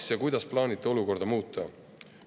Kas ja kuidas plaanite olukorda muuta?